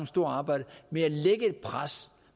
store arbejde med at lægge et pres